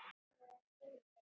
Hann verður að skilja.